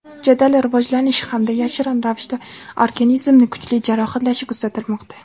jadal rivojlanishi hamda yashirin ravishda organizmni kuchli jarohatlashi kuzatilmoqda.